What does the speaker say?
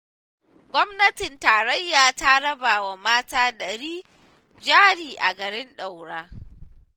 Gwamnatin tarayya ta raba wa mata ɗari jari a garin Daura